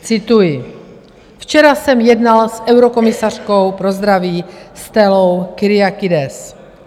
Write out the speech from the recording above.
Cituji: "Včera jsem jednal s eurokomisařkou pro zdraví Stellou Kyriakides.